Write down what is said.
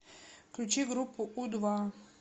включи группу у два